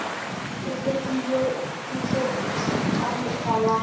o bopilwe butlebutle ka mokgwa